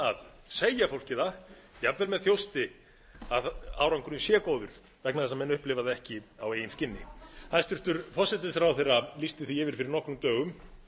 að segja fólki það jafnvel með þjósti að árangurinn er góður vegna þess að árangurinn er ekki á eigin skinni hæstvirtur forsætisráðherra lýsti því fyrir nokkrum dögum